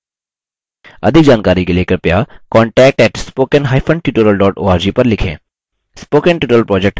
अधिक जानकारी के लिए कृपया contact @spokentutorial org पर लिखें